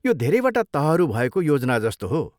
यो धेरैवटा तहहरू भएको योजना जस्तो हो।